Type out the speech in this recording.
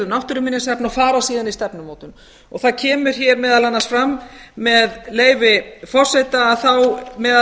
og fara síðan í stefnumótun það kemur hér meðal annars fram með leyfi forseta þá meðal